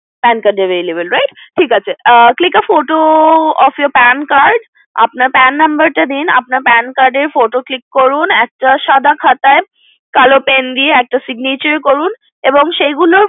PAN Card available right click a photo of your pen card আপনার PAN number টা দিন আপনার PAN card এর photo click করুন and একটা সাদা খাতায় কাল pen দিয়ে একটা signature করুন এবং সেগুলো